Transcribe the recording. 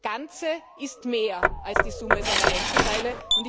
Ganze ist mehr als die Summe seiner Einzelteile.